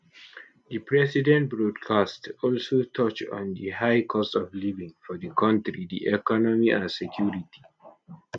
di president broadcast also touch on di high cost of living for di kontri di economy and security